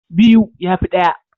Biyu ya fi ɗaya.